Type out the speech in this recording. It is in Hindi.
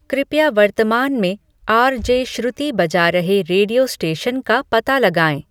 कृपया वर्तमान में आर. जे. श्रुति बजा रहे रेडियो स्टेशन का पता लगाएँ